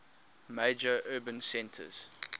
major urban centers